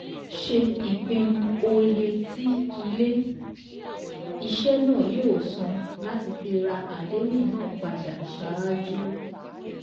Ṣe ìpinu oye tí Ilé-iṣẹ́ náà yóó san láti fi ra àdéhùn náà padà ṣáájú.